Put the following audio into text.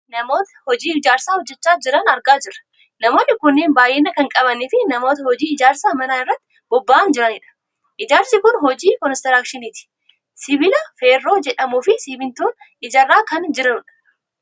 Namoota hojii ijaarsaa hojjachaa jiran argaa jirra. Namoonni kunneen bayyina kan qabaniifi namoota hojii ijaarsa manaa irratti boba'anii jiranidha. Ijaarsi kun hojii konistiraakshiiniti. Sibiila feerroo jedhamuufi simmintoon ijaaraa kan jiranidha.